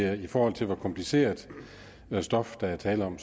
at det i forhold til hvor kompliceret stof der er tale om